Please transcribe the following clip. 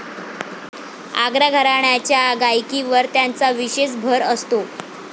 आग्रा घराण्याच्या गायकीवर त्यांचा विशेष भर असतो.